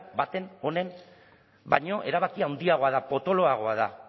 baten honen baina erabaki handiagoa da potoloagoa da